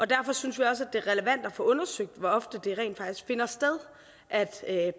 derfor synes vi også at det er relevant at få undersøgt hvor ofte det rent faktisk finder sted at